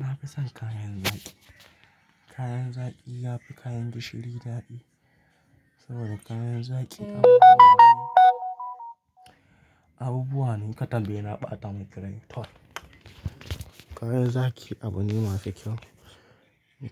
Na fi son kayan zaki. Kayan zaki yafi kayan gishiri dadi. Saboda kayan zaki, abubuwa na katambe yana ɓata mai girma. Kayan zaki abu ne masu kyau.